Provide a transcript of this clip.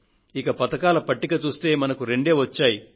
ఇక పతకాల పట్టిక చూస్తే మనకు రెండే వచ్చాయి